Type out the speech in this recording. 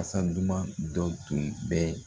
Kasa duman dɔ tun bɛ